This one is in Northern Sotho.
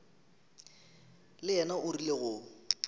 le yena o rile go